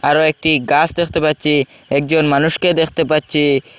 আরও একটি গাছ দেখতে পাচ্ছি একজন মানুষকে দেখতে পাচ্ছি।